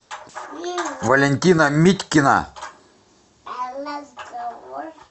валентина митькина